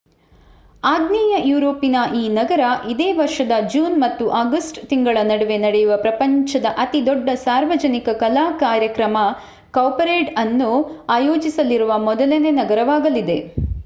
ಆಗ್ನೇಯ ಯೂರೋಪಿನ ಈ ನಗರ ಇದೇ ವರ್ಷದ ಜೂನ್ ಮತ್ತು ಆಗಸ್ಟ್ ತಿಂಗಳ ನಡುವೆ ನಡೆಯುವ ಪ್ರಪಂಚದ ಅತಿ ದೊಡ್ಡ ಸಾರ್ವಜನಿಕ ಕಲಾ ಕಾರ್ಯಕ್ರಮ ಕೌಪರೇಡ್ ಅನ್ನು ಅಯೋಜಿಸಲಿರುವ ಮೊದಲನೇ ನಗರವಾಗಲಿದೆ